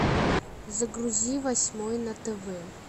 загрузи восьмой на тв